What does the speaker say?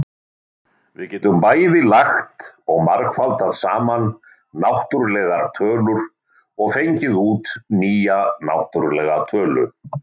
Við getum bæði lagt og margfaldað saman náttúrlegar tölur, og fengið út nýja náttúrlega tölu.